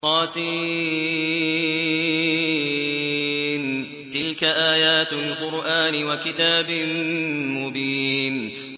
طس ۚ تِلْكَ آيَاتُ الْقُرْآنِ وَكِتَابٍ مُّبِينٍ